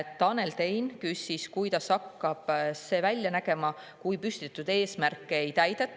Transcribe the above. Tanel Tein küsis, kuidas hakkab protsess välja nägema, kui püstitatud eesmärke ei täideta.